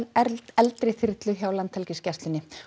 eldri þyrlu hjá Landhelgisgæslunni